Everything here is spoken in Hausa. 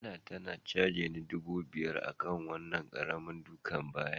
Anah ta cageni dubu biyar a wanna karanin duka baya.